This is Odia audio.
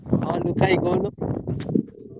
ହଁ ଦୁଃଖା ଭାଇ କହୁନୁ